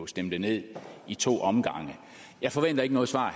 stemte ned i to omgange jeg forventer ikke noget svar